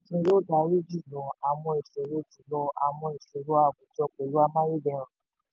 yóò dárí jùlọ àwọn ìṣòro jùlọ àwọn ìṣòro àwùjọ pẹ̀lú amáyédẹrùn.